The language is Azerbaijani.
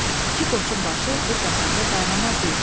İki qoçun başı bir qazanda qaynamaz deyiblər.